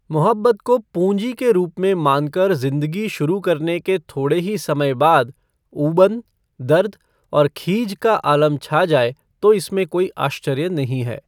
मुहब्बत को पूँजी के रूप में मानकर जिंदगी शुरू करने के थोड़े ही समय बाद ऊबन, दर्द और खीझ का आलम छा जाए तो इसमें कोई आश्चर्य नहीं है।